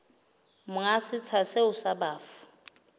monga setsha seo sa bafu